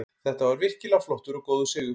Þetta var virkilega flottur og góður sigur.